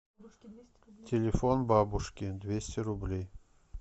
телефон бабушки двести рублей